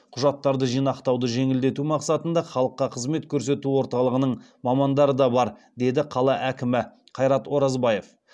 құжаттарды жинақтауды жеңілдету мақсатында халыққа қызмет көрсету орталығының мамандары да бар деді қала әкімі қайрат оразбаев